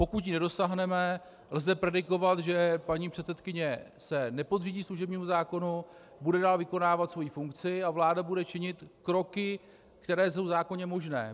Pokud jí nedosáhneme, lze predikovat, že paní předsedkyně se nepodřídí služebnímu zákonu, bude dál vykonávat svoji funkci a vláda bude činit kroky, které jsou zákonně možné.